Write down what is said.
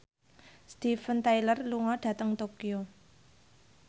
Steven Tyler lunga dhateng Tokyo